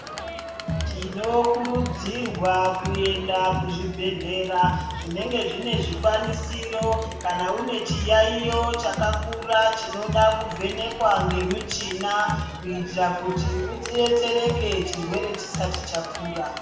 Tinokurudzirwa kuenda kuzvibhedhlera zvinenge zvine zvikwanisiro kana unechiyaiyo chakakura chinoda kuvhenekwa ngemuchina kuitira kuti udetsereke chirwere chisati chakura.